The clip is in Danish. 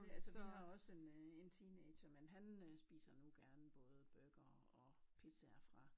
Altså vi har også en øh en teenager men han øh spiser nu gerne både burger og pizzaer fra